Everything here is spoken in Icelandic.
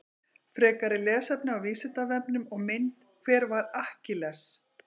Frekara lesefni á Vísindavefnum og mynd Hver var Akkilles?